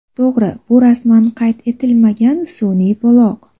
To‘g‘ri, bu rasman qayd etilmagan sun’iy buloq.